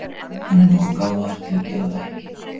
Hann er nógu gáfaður til að gera það ekki.